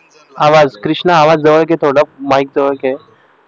आवाज कृष्णा आवाज जवळ घे थोडा माईक जवळ घे